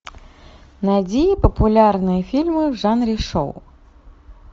найди популярные фильмы в жанре шоу